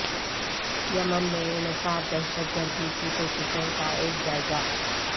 یمن میں انسداد دہشت گردی کی کوششوں کا ایک جائزہ